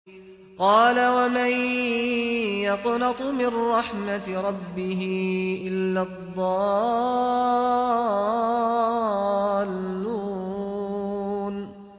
قَالَ وَمَن يَقْنَطُ مِن رَّحْمَةِ رَبِّهِ إِلَّا الضَّالُّونَ